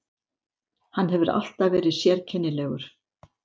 Hann hefur alltaf verið sérkennilegur.